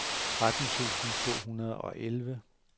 tretten tusind to hundrede og elleve